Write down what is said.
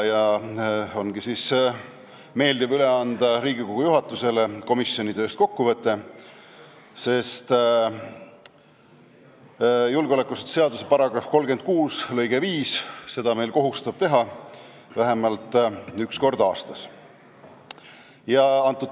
Nüüd ongi meeldiv anda Riigikogu juhatusele üle kokkuvõte komisjoni tööst, sest julgeolekuasutuste seaduse § 36 lõige 5 kohustab meid seda vähemalt üks kord aastas tegema.